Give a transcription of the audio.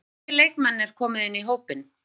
Hvernig hafa nýju leikmennirnir komið inn í hópinn?